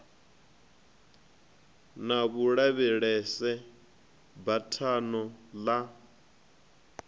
na vhulavhelese ya buthano ḽa